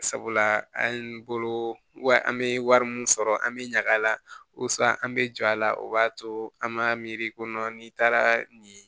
Sabula an bolo wa an bɛ wari min sɔrɔ an bɛ ɲaga la an bɛ jɔ a la o b'a to an m'a miiri ko n'i taara nin